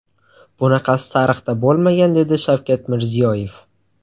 Bunaqasi tarixda bo‘lmagan”, dedi Shavkat Mirziyoyev.